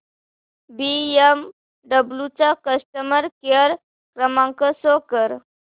BMW चा customer care क्रमांक show कर